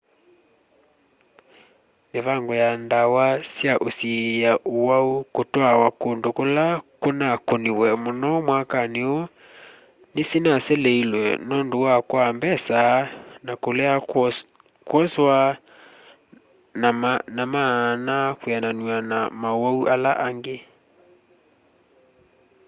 mĩvango ya ndawa sya usiĩa ũwau kũtwaawa kũndũ kũla kũnakũniwe mũno mwakani ũũ nĩsinaseleisw'e nũndũ wa kwaa mbesa na kulea kwoswa na maana ũkwiananw'a na maũwau ala angĩ